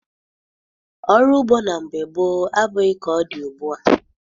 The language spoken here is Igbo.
Ọrụ ugbo na mgbe gboo abụghị ka ọ dị ugbua.